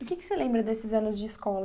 O que que você lembra desses anos de escola?